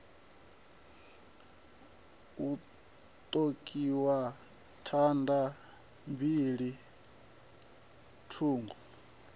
hu ṱokiwa thanda mbili thungo